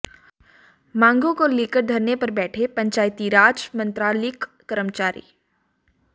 मांगों को लेकर धरने पर बैठे पंचायतीराज मंत्रालयिक कर्मचारी